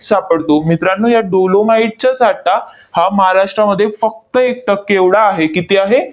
सापडतो. मित्रांनो, या dolomite चा साठा हा महाराष्ट्रामध्ये फक्त एक टक्के एवढा आहे. किती आहे?